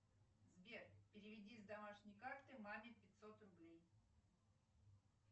сбер переведи с домашней карты маме пятьсот рублей